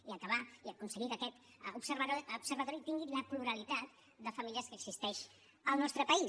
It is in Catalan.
i acabar i aconseguir que aquest observatori tingui la pluralitat de famílies que existeix al nostre país